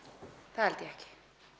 það held ég ekki